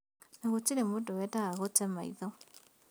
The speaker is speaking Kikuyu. Na gũtirĩ mũndũ weendaga gũte maitho